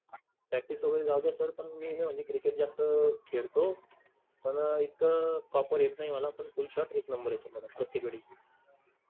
practice वगेरे झाल असेल तर मी क्रिकेट जास्त खेळतो पण एक proper येत नाही मला पण full shot एक नंबर येतय मला प्रत्येक वेळी.